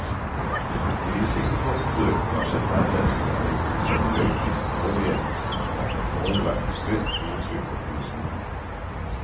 De risikofaktorer hun har sett nærmere på, er i hovedsak røyking, dårlige mosjonsvaner, overvekt, høyt blodtrykk og kolesterol.